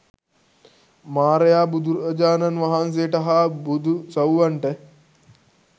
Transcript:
මාරයා බුදුරජාණන් වහන්සේට හා බුදු සව්වන්ට